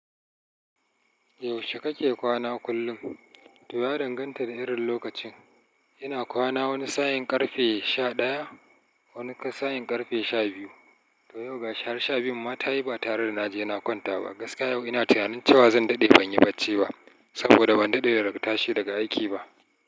Yaushe kake kwana kullum? To ya danganta da irin lokacin. Ina kwana wani sa'in ƙarfe sha ɗaya, wani sa'in ƙarfe sha biyu. To yau ga shi har sha biyun ma ta yi ba tare da na je na kwanta ba. Gaskiya yau ina tunanin cewa zan daɗe ban yi bacci ba, saboda ban daɗe daga tashi daga aiki ba.